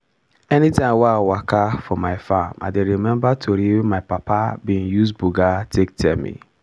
anytime i walka for my farm i dey remember tori wey my papa be use buga take tell me.